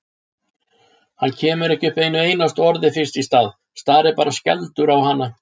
Hann kemur ekki upp einu einasta orði fyrst í stað, starir bara skelfdur á hana.